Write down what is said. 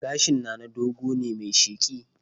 Gashin Nana dogo ne mai sheƙi